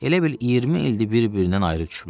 Elə bil 20 ildir bir-birindən ayrı düşüblər.